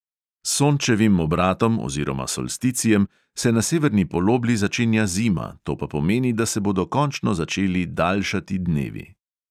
S sončevim obratom oziroma solsticijem se na severni polobli začenja zima, to pa pomeni, da se bodo končno začeli daljšati dnevi.